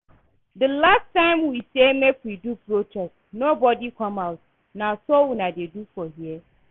The last time we say make we do protest nobody come out, na so una dey do for here?